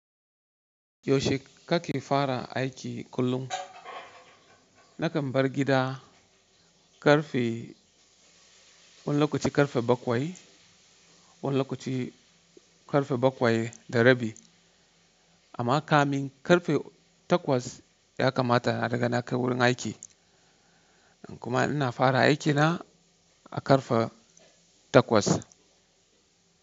Yaushe kake fara aiki kullum? Nakan bar gida ƙarfe, wani lokaci ƙarfe bakwai, wani lokaci ƙarfe bakwai da rabi. Amma kamin ƙarfe takwas ya kamata na ruga na kai wurin aiki. Kuma ina fara aikina a ƙarfe takwas.